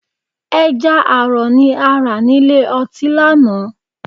Ẹja àrọ̀ ni a rà nílé ọtí lánàá